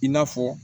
I n'a fɔ